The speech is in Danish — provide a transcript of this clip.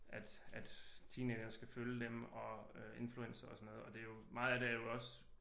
At at teenagerne skal følge dem og øh influencere og sådan noget og meget af det er jo også